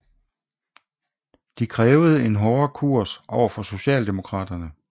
De krævede en hårdere kurs overfor socialdemokraterne